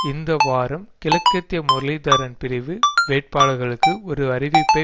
இந்த வாரம் கிழக்கத்திய முரளிதரன் பிரிவு வேட்பாளர்களுக்கு ஒரு அறிவிப்பை